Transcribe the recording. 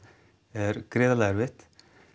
er gríðarlega erfitt